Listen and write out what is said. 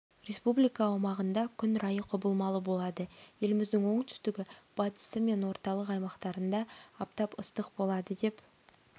республика аумағында күн райы құбылмалы болады еліміздің оңтүстігі батысы мен орталық аймақтарында аптап ыстық болады деп